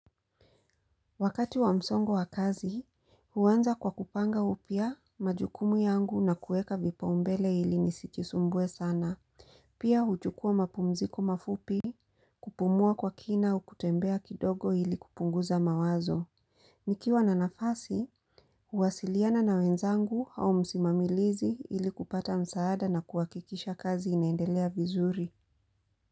Wakati wa msongo wa kazi, huanza kwa kupanga upya majukumu yangu na kueka vipaumbele ili nisijisumbue sana. Pia huchukuwa mapumziko mafupi kupumua kwa kina au kutembea kidogo ili kupunguza mawazo. Nikiwa na nafasi, huwasiliana na wenzangu au msimamilizi ili kupata msaada na kuakikisha kazi inaendelea vizuri.